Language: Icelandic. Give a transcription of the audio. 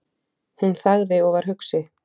Hún þagði og var hugsi.